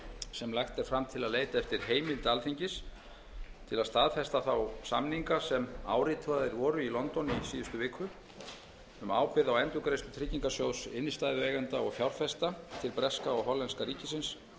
sem lagt er fram til að leita eftir heimild alþingis til að staðfesta þá samninga sem áritaðir voru í london í síðustu viku um ábyrgð á endurgreiðslu tryggingarsjóðs innstæðueigenda og fjárfesta til breska og hollenska ríkisins